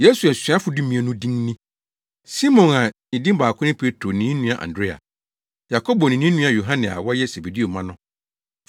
Yesu asuafo dumien no din ni: Simon a ne din baako ne Petro ne ne nua Andrea; Yakobo ne ne nua Yohane a wɔyɛ Sebedeo mma no,